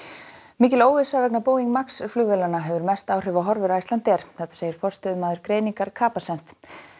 mikil óvissa vegna Boeing Max flugvélana hefur mest áhrif á horfur Icelandair þetta segir forstöðumaður greiningar Capacent